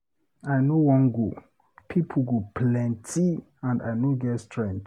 I no wan go, people go plenty and I no get strength.